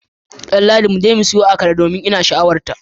Danladi, muje mu siyo akara domin ina sha'awarta